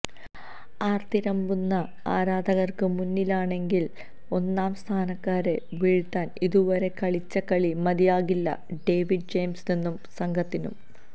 ആര്ത്തിരമ്പുന്ന ആരാധകര്ക്ക് മുന്നിലാണെങ്കിലും ഒന്നാം സ്ഥാനക്കാരെ വീഴ്ത്താന് ഇതുവരെ കളിച്ച കളി മതിയാകില്ല ഡേവിഡ് ജെയിംസിനും സംഘത്തിനും